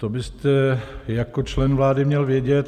To byste jako člen vlády měl vědět.